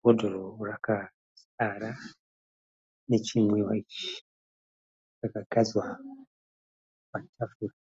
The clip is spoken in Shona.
Bhodhoro rakazara nechinwiwa ichi. Rakagadzwa patafura.